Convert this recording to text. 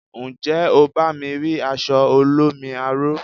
Njé o bá mi ri aṣọ olómi aro?